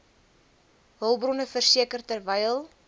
hulpbronne verseker terwyl